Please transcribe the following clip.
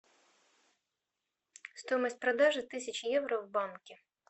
стоимость продажи тысячи евро в банке